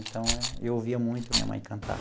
Então, eu ouvia muito minha mãe cantar.